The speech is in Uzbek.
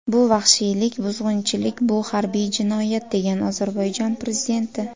Bu vahshiylik, buzg‘unchilik, bu harbiy jinoyat”, degan Ozarbayjon prezidenti.